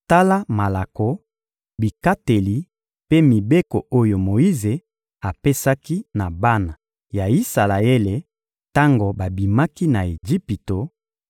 Tala malako, bikateli mpe mibeko oyo Moyize apesaki na bana ya Isalaele tango babimaki na Ejipito;